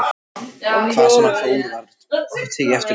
Hvar sem hann fór var eftir honum tekið.